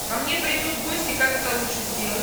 ко мне придут гости как это лучше сделать